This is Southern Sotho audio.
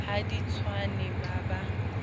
ha di tswane ba ba